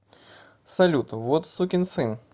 салют вот сукин сын